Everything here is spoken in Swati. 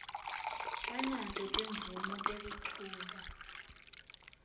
banato timvumo tekuchuba